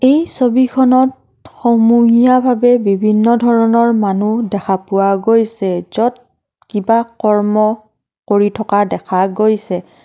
এই ছবিখনত সমূহীয়াভাৱে বিভিন্ন ধৰণৰ মানুহ দেখা পোৱা গৈছে য'ত কিবা কৰ্ম কৰি থকা দেখা গৈছে।